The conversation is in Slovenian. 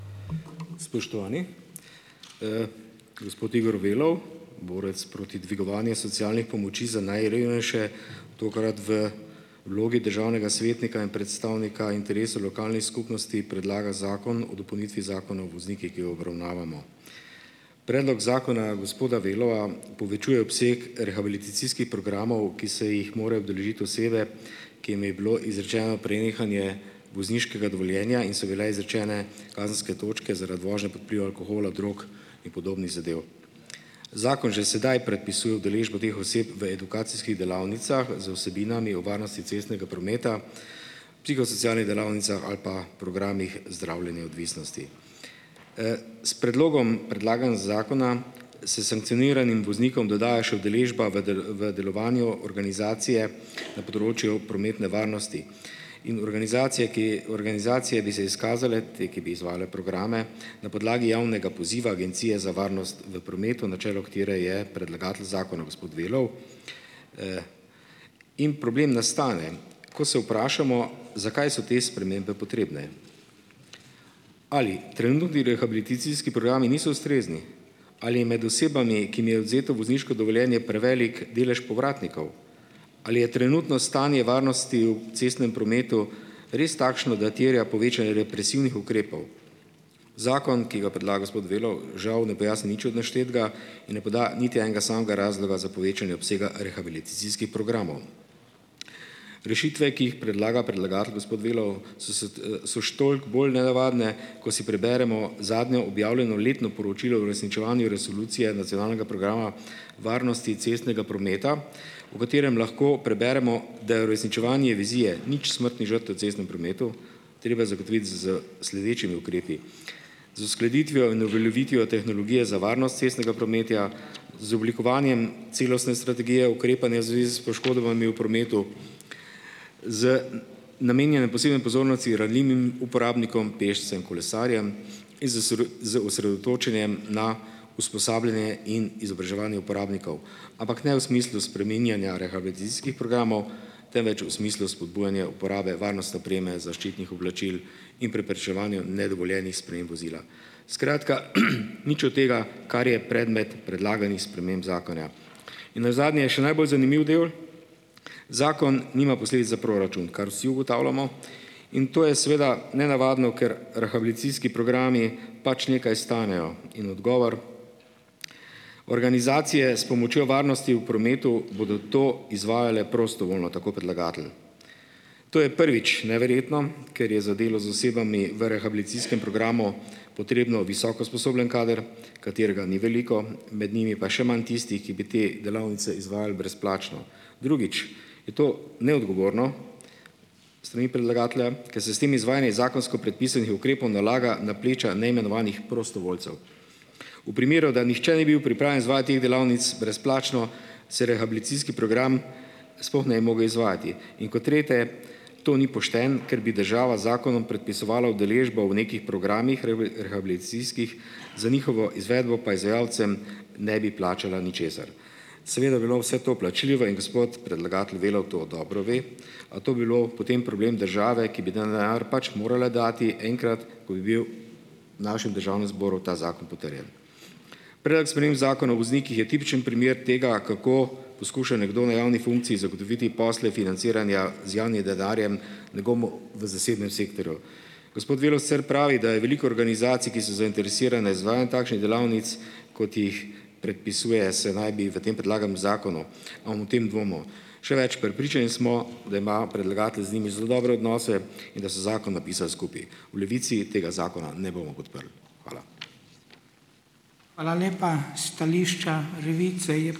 Spoštovani. Gospod Igor Velov, borec proti dvigovanju socialnih pomoči za najrevnejše, tokrat v vlogi državnega svetnika in predstavnika interesov lokalnih skupnosti predlaga zakon o dopolnitvi Zakona o voznikih, ki ga obravnavamo. Predlog zakona gospoda Velova povečuje obseg rehabilitacijskih programov, ki se jih morajo udeležiti osebe, ki jim je bilo izrečeno prenehanje vozniškega dovoljenja in so bile izrečene kazenske točke zaradi vožnje pod vplivom alkohola, drog in podobnih zadev. Zakon že sedaj predpisuje udeležbo teh oseb v edukacijskih delavnicah z vsebinami o varnosti cestnega prometa, psihosocialnih delavnicah ali pa programih zdravljenja odvisnosti. S predlogom predlaganega zakona se sankcioniranim voznikom dodaja še udeležba v v delovanju organizacije na področju prometne varnosti. In organizacije, ki - organizacije bi se izkazale, te, ki bi izvajale programe, na podlagi javnega poziva Agencije za varnost v prometu, na čelu katere je predlagatelj zakona, gospod Velov. In problem nastane, ko se vprašamo, zakaj so te spremembe potrebne. Ali trenutni rehabilitacijski programi niso ustrezni? Ali je med osebami, ki jim je odvzeto vozniško dovoljenje, prevelik delež povratnikov? Ali je trenutno stanje varnosti v cestnem prometu res takšno, da terja povečanje represivnih ukrepov? Zakon, ki ga predlaga gospod Velov, žal ne pojasni nič od naštetega in ne poda niti enega samega razloga za povečanje obsega rehabilitacijskih programom. Rešitve, ki jih predlaga predlagatelj, gospod Velov, so se so še toliko bolj nenavadne, ko si preberemo zadnje objavljeno letno poročilo o uresničevanju resolucije nacionalnega programa varnosti cestnega prometa, v katerem lahko preberemo, da je uresničevanje vizije nič smrtnih žrtev v cestnem prometu treba zagotoviti s sledečimi ukrepi. Z uskladitvijo in uveljavitvijo tehnologije za varnost cestnega prometa, z oblikovanjem celostne strategije ukrepanja v zvezi s poškodbami v prometu, z namenjanjem posebne pozornosti ranljivim uporabnikom - pešcem, kolesarjem, in z z osredotočenjem na usposabljanje in izobraževanje uporabnikov. Ampak ne v smislu spreminjanja rehabilitacijskih programov, temveč v smislu spodbujanja uporabe varnostne opreme, zaščitnih oblačil in preprečevanja nedovoljenih sprememb vozila. Skratka, nič od tega, kar je predmet predlaganih sprememb zakona. In nazadnje - še najbolj zanimiv del. Zakon nima posledic za proračun. Kar vsi ugotavljamo. In to je seveda nenavadno, ker rehabilitacijski programi pač nekaj stanejo. In odgovor - organizacije s pomočjo varnosti v prometu bodo to izvajale prostovoljno, tako predlagatelj. To je, prvič, neverjetno, ker je za delo z osebami v rehabilitacijskem programu potrebno visoko usposobljen kader, katerega ni veliko, med njimi pa še manj tistih, ki bi te delavnice izvajal brezplačno. Drugič, je to neodgovorno s strani predlagatelja, ker se s tem izvajanje iz zakonsko predpisanih ukrepov nalaga na pleča neimenovanih prostovoljcev. V primeru, da nihče ni bil pripravljen izvajati teh delavnic brezplačno, se rehabilitacijski program sploh ne bi mogel izvajati. In kot tretje, to ni pošteno, ker bi država z zakonom predpisovala udeležbo v nekih programih rehabilitacijskih, za njihovo izvedbo pa izvajalcem ne bi plačala ničesar. Seveda bi bilo vse to plačljivo in gospod predlagatelj Velov to dobro ve, a to bi bilo potem problem države, ki bi ta denar pač morala dati enkrat, ko bi bil našem Državnem zboru ta zakon potrjen. Predlog sprememb Zakona o voznikih je tipičen primer tega, kako poskuša nekdo na javni funkciji zagotoviti posle financiranja z javnim denarjem nekomu v zasebnem sektorju. Gospod Velov sicer pravi, da je veliko organizacij, ki so zainteresirane za izvajanje takšnih delavnic, kot jih predpisuje, se naj bi v tem predlaganem zakonu ... Še več, prepričani smo, da ima predlagatelj z njimi zelo dobre odnose in da so zakon napisali skupaj. V Levici tega zakona ne bomo podprli. Hvala.